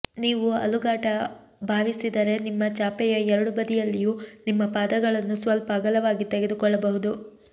ನೀವು ಅಲುಗಾಟ ಭಾವಿಸಿದರೆ ನಿಮ್ಮ ಚಾಪೆಯ ಎರಡೂ ಬದಿಯಲ್ಲಿಯೂ ನಿಮ್ಮ ಪಾದಗಳನ್ನು ಸ್ವಲ್ಪ ಅಗಲವಾಗಿ ತೆಗೆದುಕೊಳ್ಳಬಹುದು